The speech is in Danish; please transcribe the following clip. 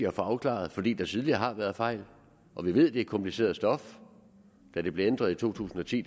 at få afklaret fordi der tidligere har været fejl og vi ved det er kompliceret stof da det blev ændret i to tusind og ti